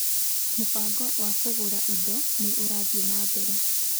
Mũbango wa kũgũra indo nĩ ũrathiĩ na mbere.